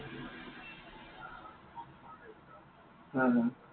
হা, হা।